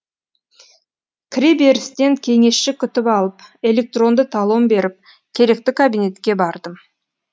кіреберістен кеңесші күтіп алып электронды талон беріп керекті кабинетке бардым